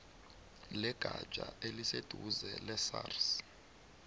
legatja eliseduze lesars